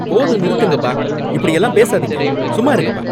போதும் நிறுத்துங்கப்பா. இப்படியெல்லாம் பேசாதீங்க. சும்மா இருங்கப்பா.